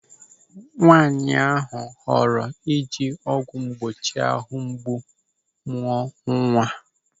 Nwaanyị họrọ ịji ọgwụ mgbochi áhụ̀ mgbu mụọ nwa.